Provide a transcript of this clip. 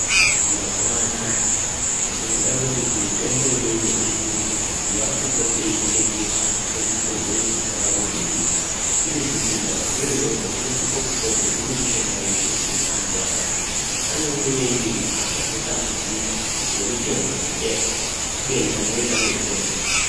Mazuva anaya ngekuda kwekuti mitombo imweni yechiyungu yakupote yeitengeswe muzvibhedhleya zvakabudirira. Ino zvibhedhlera zveshe izvozvo zvinosise kupote zvine mishonga yeshe yekuti muntu veshe akasvika anoiona irimwo. Asazotambudzika ngemitombo kubeni amweni anoitengesa.